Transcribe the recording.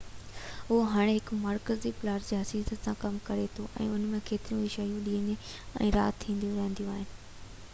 اهو هاڻي هڪ مرڪزي پلازه جي حيثيت سان ڪم ڪري ٿو ۽ ان ۾ ڪيتريون ئي شيون ڏينهن ۽ رات ٿينديون رهنديون آهن